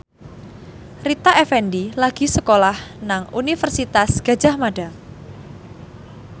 Rita Effendy lagi sekolah nang Universitas Gadjah Mada